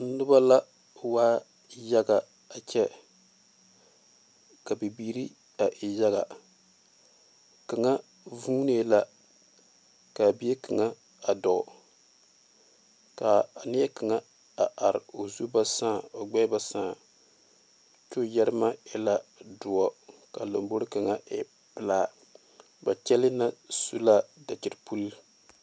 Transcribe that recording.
noba la waa yaga a kyɛ ka bibiiri a e yaga kaŋa vuune la kaa bie kaŋa a dɔɔ ka a nie kaŋa a are o zu ba saa o gbeɛ ba saa ko'o yeeremɛ e la doɔ kaa lanbore kaŋa e pelaa ba kyɛle na su la dakyipule.